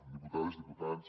diputades diputats